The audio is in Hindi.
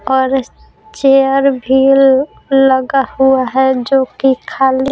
और चेयर भी लगा हुआ है जो कि खालि --